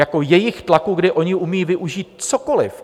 Jako jejich tlaku, kdy oni umí využít cokoli.